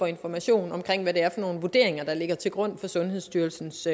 information om hvad det er nogle vurderinger der ligger til grund for sundhedsstyrelsens